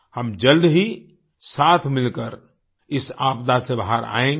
हम जल्द ही साथ मिलकर इस आपदा से बाहर आयेंगे